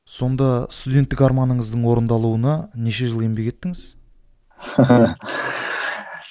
сонда студенттік арманыңыздың орындалуына неше жыл еңбек еттіңіз